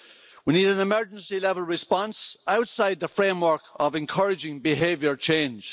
we need an emergency level response outside the framework of encouraging behaviour change.